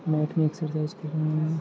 Mat में exercise कर रहे है ।